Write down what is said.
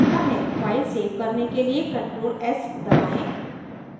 file save करने के लिए ctrl + s दबाएं